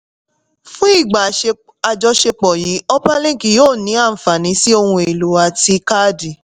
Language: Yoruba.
fún ìgbà àjọṣepọ̀ yìí upperlink yóò ní àǹfàní sí ohun èlò àti kádì.